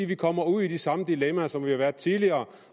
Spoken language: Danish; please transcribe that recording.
vi kommer ud i de samme dilemmaer som vi har været i tidligere